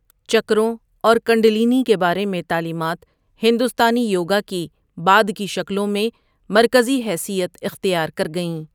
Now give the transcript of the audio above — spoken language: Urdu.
چکروں اور کنڈلینی کے بارے میں تعلیمات ہندوستانی یوگا کی بعد کی شکلوں میں مرکزی حیثیت اختیار کر گئیں۔